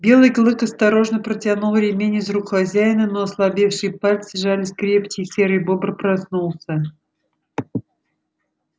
белый клык осторожно протянул ремень из рук хозяина но ослабевшие пальцы сжались крепче и серый бобр проснулся